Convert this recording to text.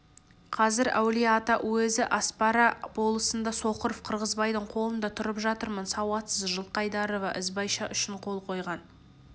қазір әулие-ата уезі аспара болысында соқыров қырғызбайдың қолында тұрып жатырмын сауатсыз жылқайдарова ізбайша үшін қол қойған